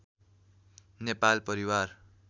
नेपाल परिवार